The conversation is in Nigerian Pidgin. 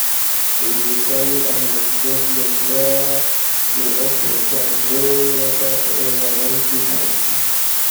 we dey carry animals go place wey dey up for times wey water for area don too plenty.